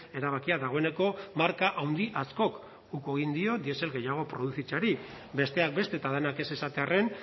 erabakia dagoeneko marka handi askok uko egin dio diesel gehiago produzitzeari besteak beste eta denak ez esatearren